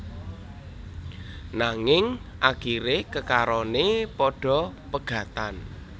Nanging akiré kekaroné padha pegatan